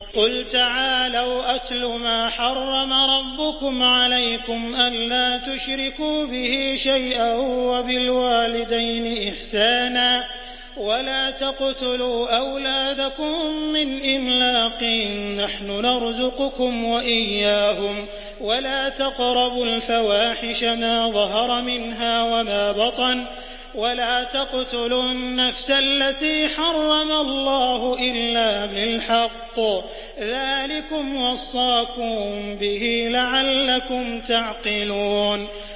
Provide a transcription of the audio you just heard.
۞ قُلْ تَعَالَوْا أَتْلُ مَا حَرَّمَ رَبُّكُمْ عَلَيْكُمْ ۖ أَلَّا تُشْرِكُوا بِهِ شَيْئًا ۖ وَبِالْوَالِدَيْنِ إِحْسَانًا ۖ وَلَا تَقْتُلُوا أَوْلَادَكُم مِّنْ إِمْلَاقٍ ۖ نَّحْنُ نَرْزُقُكُمْ وَإِيَّاهُمْ ۖ وَلَا تَقْرَبُوا الْفَوَاحِشَ مَا ظَهَرَ مِنْهَا وَمَا بَطَنَ ۖ وَلَا تَقْتُلُوا النَّفْسَ الَّتِي حَرَّمَ اللَّهُ إِلَّا بِالْحَقِّ ۚ ذَٰلِكُمْ وَصَّاكُم بِهِ لَعَلَّكُمْ تَعْقِلُونَ